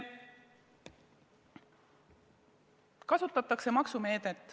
Kasutatakse maksumeedet.